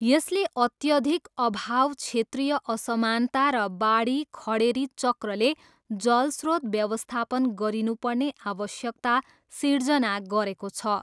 यसले अत्यधिक अभाव क्षेत्रीय असमानता र बाढी खडेरी चक्रले जल स्रोत व्यवस्थापन गरिनुपर्ने आवश्यकता सिर्जना गरेको छ।